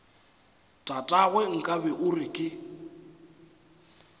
tatagwe nkabe o re ke